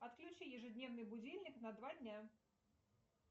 отключи ежедневный будильник на два дня